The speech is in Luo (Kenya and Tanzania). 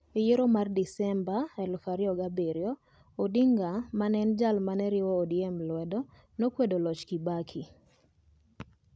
E yiero mar Desemba 2007, Odinga, ma ne en jal ma ne riwo ODM lwedo, ne okwedo loch mar Kibaki.